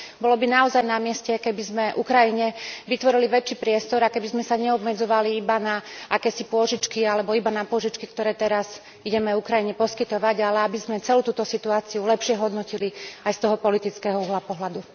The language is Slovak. Bolo by naozaj na mieste, keby sme Ukrajine vytvorili väčší priestor a keby sme sa neobmedzovali iba na akési pôžičky alebo iba na pôžičky, ktoré teraz ideme Ukrajine poskytovať, ale aby sme celú túto situáciu lepšie hodnotili aj z toho politického uhla pohľadu.